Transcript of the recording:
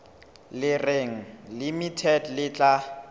le reng limited le tla